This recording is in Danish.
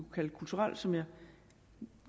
kalde det kulturelle som jeg